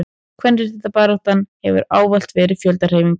kvenréttindabaráttan hefur ávallt verið fjöldahreyfing